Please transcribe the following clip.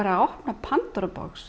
að opna